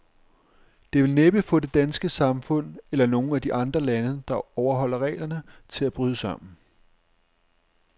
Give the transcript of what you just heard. Det vil næppe få det danske samfund, eller nogen af de andre lande, der overholder reglerne, til at bryde sammen.